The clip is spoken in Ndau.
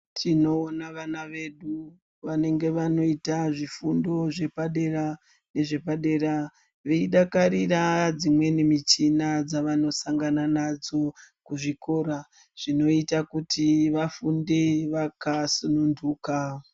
Tinowona vana vedu, vanenge vanoyita zvifundo zvepadera nezvepadera, veyidakarira dzimweni michina dzavanosangana nadzo, kuzvikora zvinoyita kuti vafunde vakasununduka.